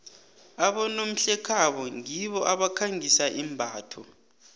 abonomhlekhabo ngibo abakhangisa imbatho